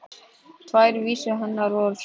Tvær vísur hennar voru svona: